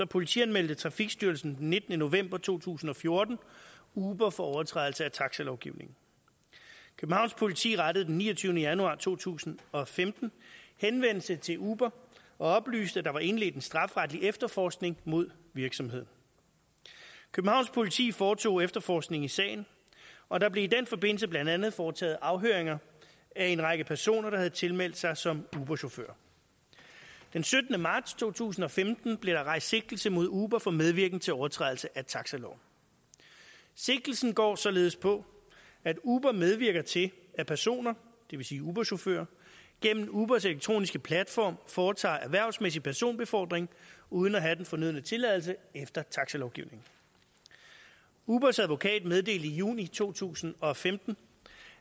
politianmeldte trafikstyrelsen den nittende november to tusind og fjorten uber for overtrædelse af taxalovgivningen københavns politi rettede den niogtyvende januar to tusind og femten henvendelse til uber og oplyste at der var indledt en strafferetlig efterforskning mod virksomheden københavns politi foretog efterforskning i sagen og der blev i den forbindelse blandt andet foretaget afhøringer af en række personer der havde tilmeldt sig som uberchauffører den syttende marts to tusind og femten blev der rejst sigtelse mod uber for medvirken til overtrædelse af taxaloven sigtelsen går således på at uber medvirker til at personer det vil sige uberchauffører gennem ubers elektroniske platform foretager erhvervsmæssig personbefordring uden at have den fornødne tilladelse efter taxalovgivningen ubers advokat meddelte i juni to tusind og femten